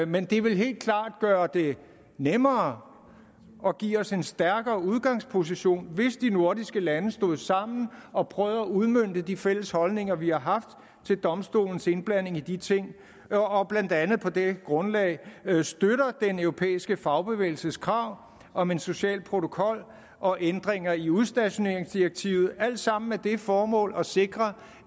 men det vil helt klart gøre det nemmere og give os en stærkere udgangsposition hvis de nordiske lande står sammen og prøver at udmønte de fælles holdninger vi har haft til domstolens indblanding i de ting og og blandt andet på det grundlag støtter den europæiske fagbevægelses krav om en social protokol og ændringer i udstationeringsdirektivet alt sammen med det formål at sikre